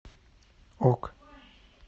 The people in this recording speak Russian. ок